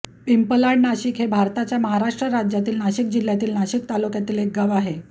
पिंपलाड नाशिक हे भारताच्या महाराष्ट्र राज्यातील नाशिक जिल्ह्यातील नाशिक तालुक्यातील एक गाव आहे